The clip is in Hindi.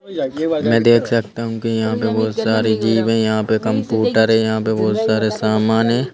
मैं देख सकता हूँ कि यहाँ पे बहुत सारे जीव है यहाँ पे कंपूटर है यहाँ पे बहुत सारे सामान हैं।